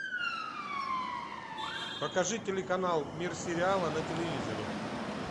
покажи телеканал мир сериала на телевизоре